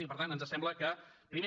i per tant ens sembla que primer